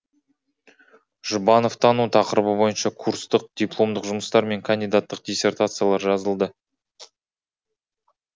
жұбановтану тақырыбы бойынша курстық дипломдық жұмыстар мен кандидаттық диссертациялар жазылды